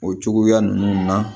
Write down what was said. O cogoya ninnu na